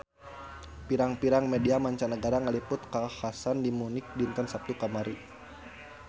Pirang-pirang media mancanagara ngaliput kakhasan di Munich dinten Saptu kamari